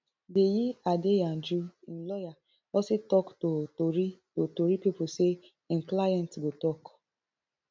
deyi adeyanju im lawyer also tok to tori to tori pipo say im client go tok